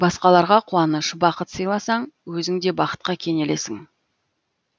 басқаларға қуаныш бақыт сыйласаң өзің де бақытқа кенелесің